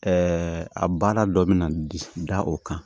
a baara dɔ bɛ na da o kan